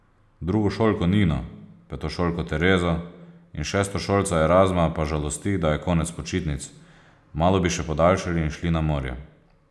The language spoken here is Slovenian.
Drugošolko Nino, petošolko Terezo in šestošolca Erazma pa žalosti, da je konec počitnic, malo bi še podaljšali in šli na morje.